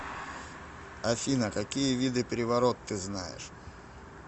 афина какие виды приворот ты знаешь